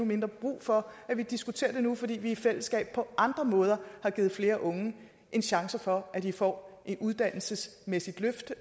mindre brug for at vi diskuterer det nu fordi vi i fællesskab på andre måder har givet flere unge en chance for at de får et uddannelsesmæssigt løft